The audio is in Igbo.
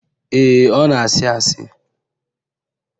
Ee, ọ na-àsị́ àsị́